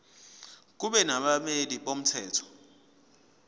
kube nabameli bomthetho